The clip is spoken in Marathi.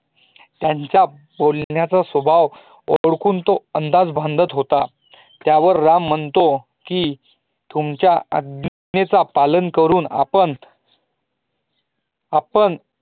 त्यांचा बोलण्याचा स्वभाव ओढखून तो अंदाज बांधत होता त्यावर राम म्हणतो की, तुमच्या आज्ञेच पालन करून आपणं आपणं